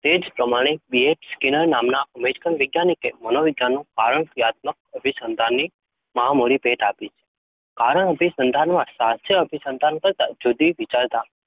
તે જ પ્રમાણે BF સ્કિનર નામના અમેરિકન વૈજ્ઞાનિકે મનોવિજ્ઞાનનું કારણ ક્રિયાત્મક અભિસંધાનની મહામૂલી ભેટ આપી છે. કારણ અભિસંધાનમાં શાસ્ત્રીય અભિસંધાન કરતાં જુદી વિચાર